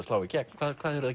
slá í gegn hvað hvað eruð